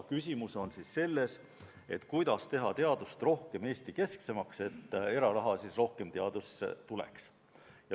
Küsimus on selles, kuidas teha teadust rohkem Eesti-keskseks, et eraraha rohkem teadusesse tuleks.